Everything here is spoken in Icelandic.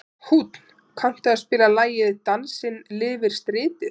Húnn, kanntu að spila lagið „Dansinn lifir stritið“?